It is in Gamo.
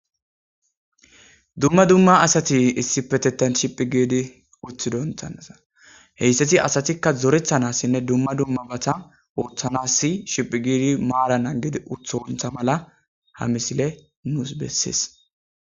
Dumma dumma asati issi petetan shiphi giidi uthi doonthannasa heyssati asatikka zorethanassinne dumma dumma bata ooththanassi shiphi giidi maaranan gede utha wontha mala ha misile nuus bessies.